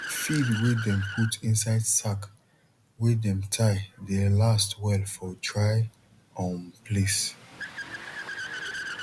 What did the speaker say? feed wey dem put inside sack wey dem tie dey last well for dry um place